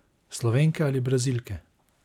Slovenke ali Brazilke?